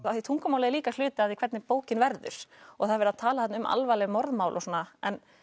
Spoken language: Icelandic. af því tungumálið er líka hluti af því hvernig bókin verður það er verið að tala þarna um alvarleg morðmál og svona en